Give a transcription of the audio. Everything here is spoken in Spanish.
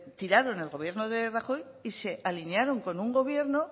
tiraron al gobierno de rajoy y se alinearon con un gobierno